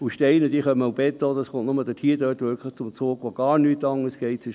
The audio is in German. Und Steine und Beton kommen nur dort zum Zug, wo gar nichts anderes geht.